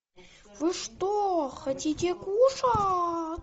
вы что хотите кушать